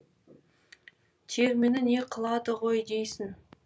термені не қылады ғой дейсің